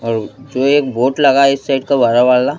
और जो एक बोट लगा है इस साइड का वा वाला--